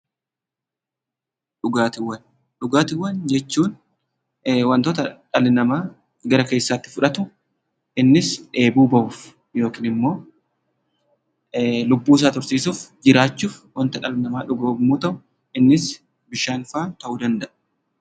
Dhugaatiiwwan jechuun wantoota dhalli namaa gara keessaatti fudhatu innis dheebuu bahuuf yookiin immoo lubbuu isaa tursiisuuf jiraachuuf wanta dhugu yommuu ta'u, innis bishaan fa'aa ta'uu danda'a.